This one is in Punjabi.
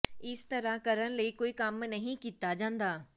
ਇਸ ਤਰ੍ਹਾਂ ਕਰਨ ਲਈ ਕੋਈ ਕੰਮ ਨਹੀਂ ਕੀਤਾ ਜਾਂਦਾ